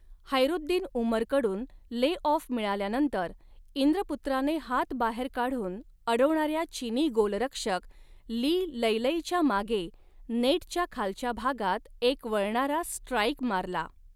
हैरुद्दीन उमरकडून lay off मिळाल्यानंतर, इंद्रपुत्राने हात बाहेर काढून अडवणाऱ्या चिनी गोलरक्षक ली लैलैच्या मागे नेटच्या खालच्या भागात एक वळणारा स्ट्राइक मारला.